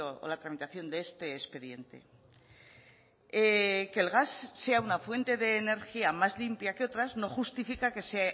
o la tramitación de este expediente que el gas sea una fuente de energía más limpia que otras no justifica que se